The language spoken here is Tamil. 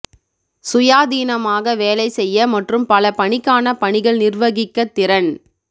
சுயாதீனமாக வேலை செய்ய மற்றும் பல பணிக்கான பணிகள் நிர்வகிக்க திறன்